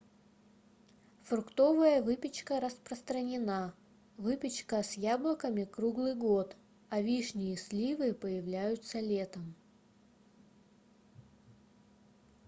фруктовая выпечка распространена выпечка с яблоками круглый год а вишни и сливы появляются летом